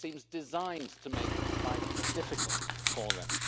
It seems designed to make life difficult for them.